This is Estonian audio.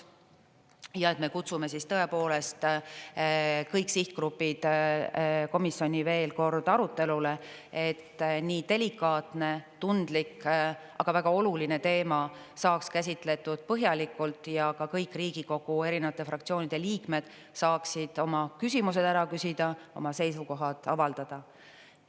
Ja et me kutsume siis tõepoolest kõik sihtgrupid komisjoni veel kord arutelule, et nii delikaatne, tundlik, aga väga oluline teema saaks käsitletud põhjalikult ja ka kõik Riigikogu erinevate fraktsioonide liikmed saaksid oma küsimused ära küsida, oma seisukohad avaldada.